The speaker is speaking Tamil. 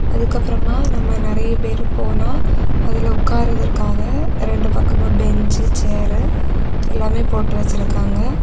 அதுக்கப்றமா நம்ம நறைய பேரு போனா அதுல உட்காருறதற்காக ரெண்டு பக்கமு பெஞ்சு சேரு எல்லாமே போட்டு வச்சிருக்காங்க.